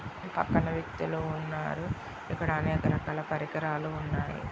పక్కన వ్యక్తులు ఉన్నారు. ఇక్కడ అనేక రకాల పరికరాలు ఉన్నాయి.